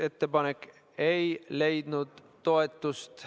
Ettepanek ei leidnud toetust.